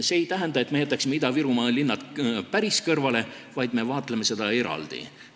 See ei tähenda, et me jätaksime Ida-Virumaa linnad päris kõrvale, vaid me vaatleme neid eraldi.